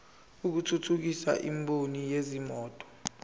lokuthuthukisa imboni yezimoto